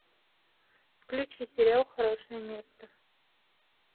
включи сериал хорошее место